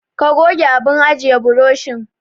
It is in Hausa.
Ka goge abun ajiye burushin.